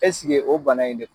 Ɛseke o bana in de don ?